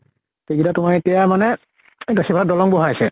সেইগিতা তোমাৰ এতিয়া মানে দ সিবাৰ দলং বহুৱাইছা